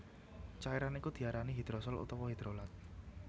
Cairan iku diarani hidrosol utawa hidrolat